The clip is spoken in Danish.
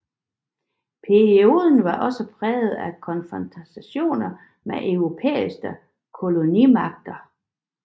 Perioden var også præget af konfrontationer med europæiske kolonimagter